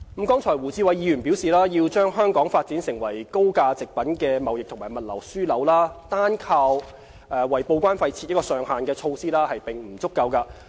剛才胡志偉議員表示，要把香港發展為高價值貨品的貿易及物流樞紐，單靠為報關費設上限的措施並不足夠。